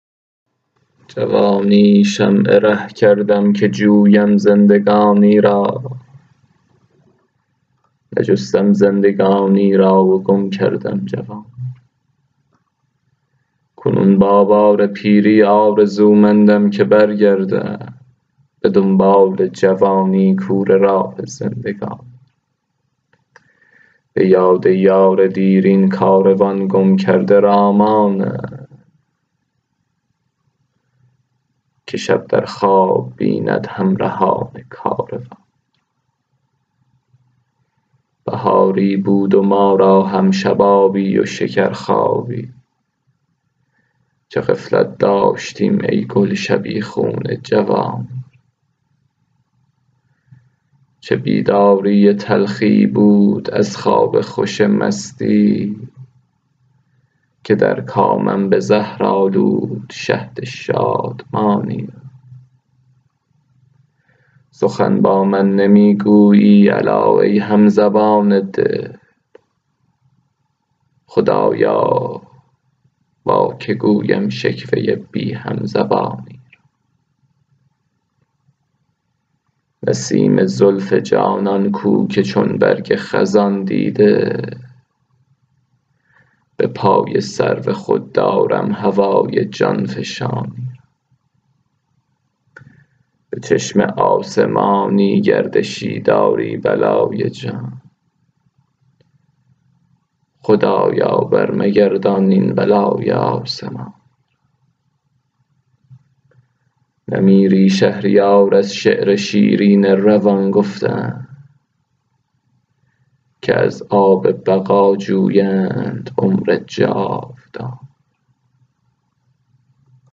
جوانی شمع ره کردم که جویم زندگانی را نجستم زندگانی را و گم کردم جوانی را کنون با بار پیری آرزومندم که برگردم به دنبال جوانی کوره راه زندگانی را به یاد یار دیرین کاروان گم کرده را مانم که شب در خواب بیند همرهان کاروانی را بهاری بود و ما را هم شبابی و شکر خوابی چه غفلت داشتیم ای گل شبیخون خزانی را چه بیداری تلخی بود از خواب خوش مستی که در کامم به زهر آلود شهد شادمانی را سخن با من نمی گویی الا ای همزبان دل خدایا با که گویم شکوه بی همزبانی را نسیم زلف جانان کو که چون برگ خزان دیده به پای سرو خود دارم هوای جانفشانی را به چشم آسمانی گردشی داری بلای جان خدا را بر مگردان این بلای آسمانی را نمیری شهریار از شعر شیرین روان گفتن که از آب بقا جویند عمر جاودانی را